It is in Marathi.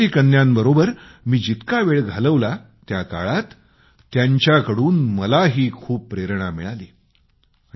या काश्मीरी कन्यांबरोबर मी जितका वेळ घालवला त्या काळात त्यांच्याकडून मलाही खूप प्रेरणा मिळाली